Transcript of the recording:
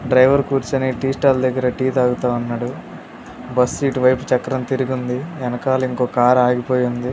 Driver కూర్చుని tea stall దగ్గర tea తాగుతా ఉన్నాడు. బస్సు ఇటు వైపు చక్రం తిరిగుంది. ఎనకాల ఇంకో కార్ ఆగిపోయి ఉంది.